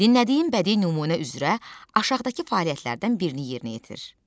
Dinlədiyim bədii nümunə üzrə aşağıdakı fəaliyyətlərdən birini yerinə yetir.